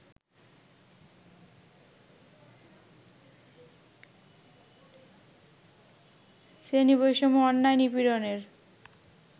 শ্রেণী বৈষম্য, অন্যায়, নিপীড়নের